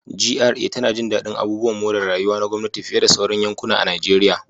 GRA tana jin daɗin abubuwan more rayuwa na gwamnati fiye da sauran yankuna a Najeriya